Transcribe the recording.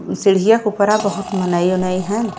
म् सीढ़िया के ऊपरा बहुत मनई ओनई हैन्।